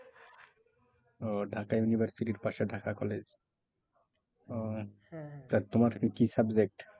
ও Dhaka university র পাশে Dhaka college. ওহ তোমার কি কি subject?